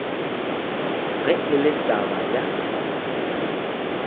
ge e le taba ya